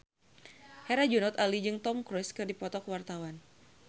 Herjunot Ali jeung Tom Cruise keur dipoto ku wartawan